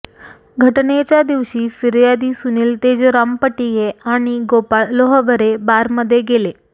घटनेच्या दिवशी फियार्दी सुनील तेजराम पटिये आणि गोपाळ लोहबरे बारमध्ये गेले